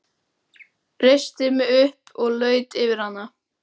Reisti mig upp og laut yfir hana.